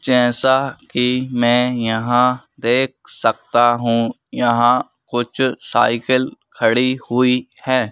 जैसा कि मैं यहां देख सकता हूं यहां कुछ साइकिल खड़ी हुई है।